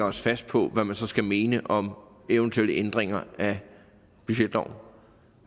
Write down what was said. os fast på hvad man så skal mene om eventuelle ændringer af budgetloven